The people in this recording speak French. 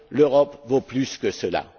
L'Europe vaut plus que cela.